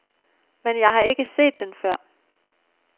Men jeg har ikke set den før.